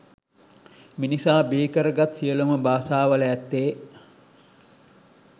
මිනිසා බිහිකරගත් සියලුම භාෂාවල ඇත්තේ